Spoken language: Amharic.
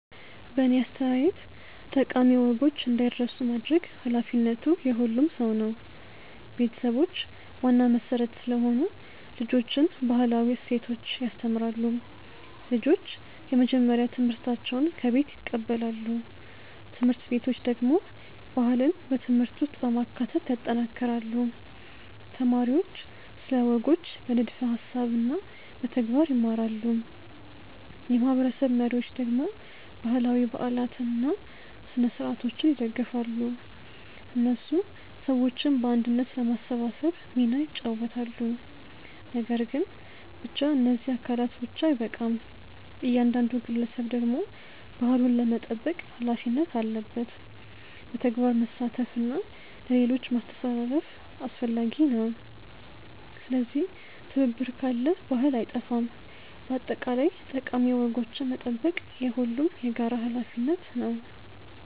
በእኔ አስተያየት ጠቃሚ ወጎች እንዳይረሱ ማድረግ ኃላፊነቱ የሁሉም ሰው ነው። ቤተሰቦች ዋና መሠረት ስለሆኑ ልጆችን ባህላዊ እሴቶች ያስተምራሉ። ልጆች የመጀመሪያ ትምህርታቸውን ከቤት ይቀበላሉ። ት/ቤቶች ደግሞ ባህልን በትምህርት ውስጥ በማካተት ያጠናክራሉ። ተማሪዎች ስለ ወጎች በንድፈ ሀሳብ እና በተግባር ይማራሉ። የማህበረሰብ መሪዎች ደግሞ ባህላዊ በዓላትን እና ስነ-ሥርዓቶችን ይደግፋሉ። እነሱ ሰዎችን በአንድነት ለማሰባሰብ ሚና ይጫወታሉ። ነገር ግን ብቻ እነዚህ አካላት ብቻ አይበቃም። እያንዳንዱ ግለሰብ ደግሞ ባህሉን ለመጠበቅ ሀላፊነት አለበት። በተግባር መሳተፍ እና ለሌሎች ማስተላለፍ አስፈላጊ ነው። ስለዚህ ትብብር ካለ ባህል አይጠፋም። በአጠቃላይ ጠቃሚ ወጎችን መጠበቅ የሁሉም የጋራ ሀላፊነት ነው።